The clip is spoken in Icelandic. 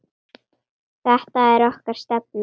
Þetta er okkar stefna.